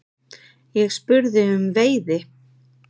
Ég spurði um veiði.